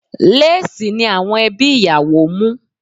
Léèsì ni àwọn ẹbí ìyàwó mú